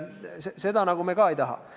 Seda me ka nagu ei taha.